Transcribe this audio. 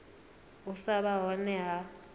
u sa vha hone ha